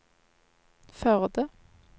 Førde